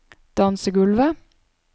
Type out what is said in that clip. dansegulvet